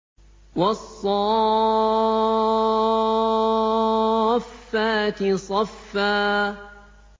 وَالصَّافَّاتِ صَفًّا